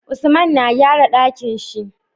Usman na gyara Ɗakinshi